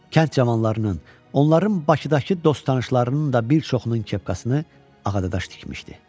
Kənd cavanlarının, onların Bakıdakı dost-tanışlarının da bir çoxunun kepkasını Ağadaş tikmişdi.